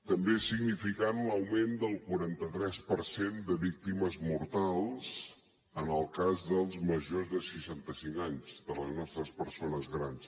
també és significant l’augment del quaranta tres per cent de víctimes mortals en el cas dels majors de seixanta cinc anys de les nostres persones grans